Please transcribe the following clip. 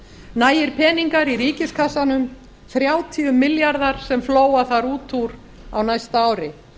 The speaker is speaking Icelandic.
nægir peningar í ríkiskassanum þrjátíu milljarðar sem flóa þar út úr á næsta ári